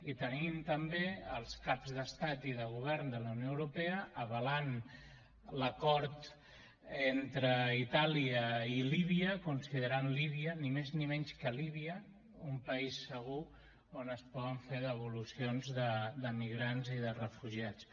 i tenim també els cap d’estat i de govern de la unió europea avalant l’acord entre itàlia i líbia en què es considera líbia ni més ni menys líbia un país segur on es poden fer devolucions de migrants i de refugiats